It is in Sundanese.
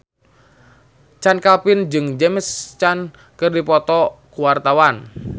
Chand Kelvin jeung James Caan keur dipoto ku wartawan